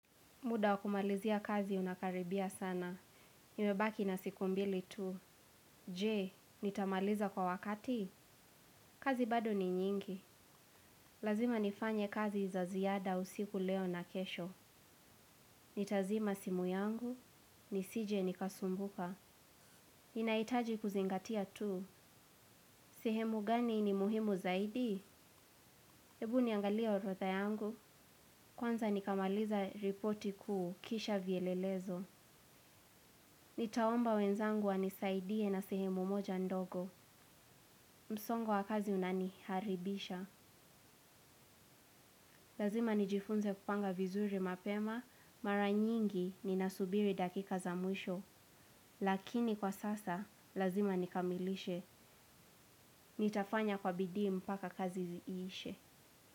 Muda wa kumalizia kazi unakaribia sana. Nimebaki na siku mbili tu. Je, nitamaliza kwa wakati? Kazi bado ni nyingi. Lazima nifanye kazi za ziada usiku, leo na kesho. Nitazima simu yangu. Nisije nikasumbuka. Ninahitaji kuzingatia tu. Sehemu gani ni muhimu zaidi? Ebu niangalia orodha yangu. Kwanza nikamaliza ripoti kuu kisha vielelezo. Nitaomba wenzangu wanisaidie na sehemu moja ndogo. Msongo wa kazi unaniharibisha. Lazima nijifunze kupanga vizuri mapema. Mara nyingi ninasubiri dakika za mwisho. Lakini kwa sasa, lazima nikamilishe. Nitafanya kwa bidii mpaka kazi iishe.